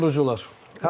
Oyun qurucular.